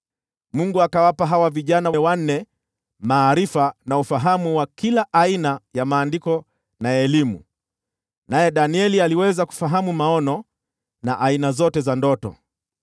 Mungu akawapa hawa vijana wanne maarifa na ufahamu wa kila aina ya maandiko na elimu. Naye Danieli aliweza kufahamu maono na aina zote za ndoto.